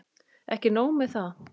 Ekki nóg með það.